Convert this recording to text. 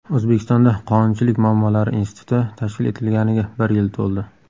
O‘zbekistonda Qonunchilik muammolari instituti tashkil etilganiga bir yil to‘ldi.